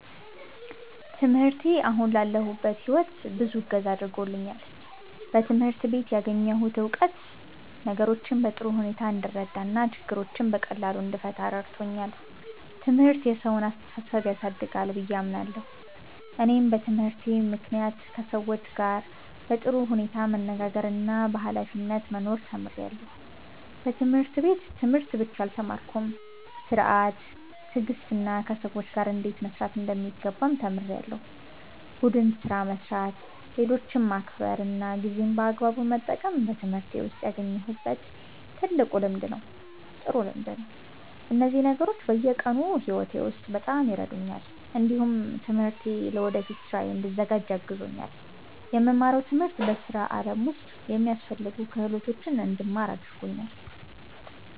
ትምህርቴ አሁን ላለሁበት ሕይወት ብዙ እገዛ አድርጎልኛል። በትምህርት ቤት ያገኘሁት እውቀት ነገሮችን በጥሩ ሁኔታ እንድረዳ እና ችግሮችን በቀላሉ እንድፈታ ረድቶኛል። ትምህርት የሰውን አስተሳሰብ ያሳድጋል ብዬ አምናለሁ። እኔም በትምህርቴ ምክንያት ከሰዎች ጋር በጥሩ ሁኔታ መነጋገርና በኃላፊነት መኖር ተምሬያለሁ። በትምህርት ቤት ትምህርት ብቻ አልተማርኩም፤ ሥርዓት፣ ትዕግስትና ከሰዎች ጋር እንዴት መስራት እንደሚገባም ተምሬያለሁ። ቡድን ስራ መስራት፣ ሌሎችን ማክበር እና ጊዜን በአግባቡ መጠቀም በትምህርቴ ውስጥ ያገኘሁት ጥሩ ልምድ ነው። እነዚህ ነገሮች በየቀኑ ሕይወቴ ውስጥ በጣም ይረዱኛል። እንዲሁም ትምህርቴ ለወደፊት ሥራዬ እንድዘጋጅ አግዞኛል። የምማረው ትምህርት በሥራ ዓለም ውስጥ የሚያስፈልጉ ክህሎቶችን እንድማር አድርጎኛል።